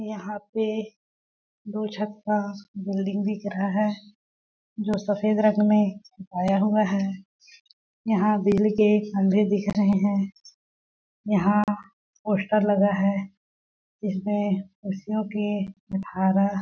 यहाँ पे दो छत का बिल्डिंग दिख रहा है जो सफ़ेद रंग में पुताया हुआ है यहाँ बिजली के खंभे दिख रहे है यहाँ पोस्टर लगा है इसमें खुशियों के धारा--